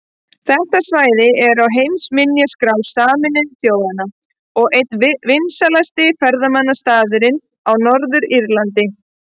Þetta svæði er á heimsminjaskrá Sameinuðu þjóðanna og einn vinsælasti ferðamannastaðurinn á Norður-Írlandi.